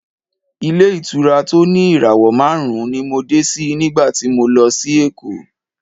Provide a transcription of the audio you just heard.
Ilé-ìtura tó ní ìràwọ̀ márùn-ún ni mo dé sí nígbà tí mo lọ sí Èkó.